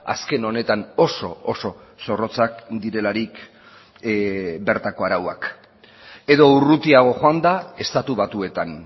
azken honetan oso oso zorrotzak direlarik bertako arauak edo urrutiago joanda estatu batuetan